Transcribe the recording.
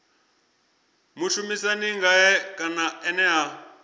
mushumisani ngae kana ene a